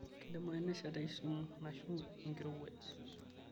keidimayu nesha te kisumu naishu enkirowuaj